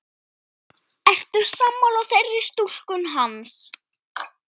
Ertu sammála þeirri túlkun hans?